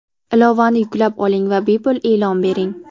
Ilovani yuklab oling va bepul e’lon bering!.